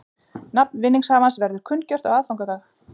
Nafn vinningshafans verður kunngjört á aðfangadag